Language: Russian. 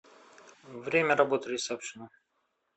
время работы ресепшена